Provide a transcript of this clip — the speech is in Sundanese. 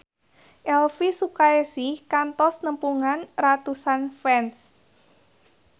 Elvi Sukaesih kantos nepungan ratusan fans